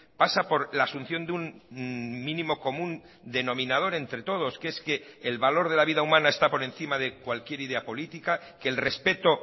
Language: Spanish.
pasa por la asunción de un mínimo común denominador entre todos que es que el valor de la vida humana está por encima de cualquier idea política que el respeto